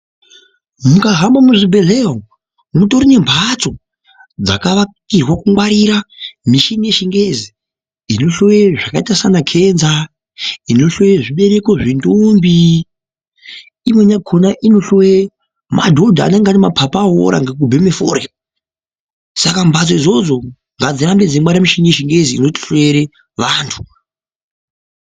Mukahamba muzvibhehleya umu ,mutori nemhatso dzakavakirwe kungwarira mishini yechingezi inhloye sezvakaita gomarara, inohloye zvibereko zvendombi, imweni yakona inohloye madhodha anenge ane mapapu awora ngekubheme forya saka mbatso idzodzo ngadzirambe dzeingwarire mishini yechingezi inotihloyere vantu.